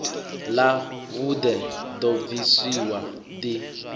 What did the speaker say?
ḽa vhuḓe ḓo bvisiwa ḓi